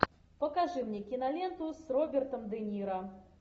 покажи мне киноленту с робертом де ниро